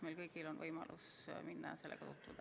Meil kõigil on võimalus minna ja sellega tutvuda.